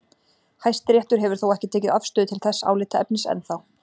Hæstiréttur hefur þó ekki tekið afstöðu til þess álitaefnis enn þá.